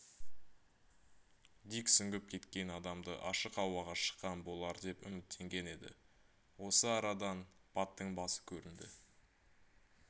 дик сүңгіп кеткен адамды ашық ауаға шыққан болар деп үміттенген еді осы арада дан баттың басы көрінді